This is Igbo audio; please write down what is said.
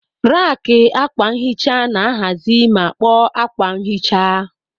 Raki akwa nhicha na-ahazi ma kpoo akwa nhicha.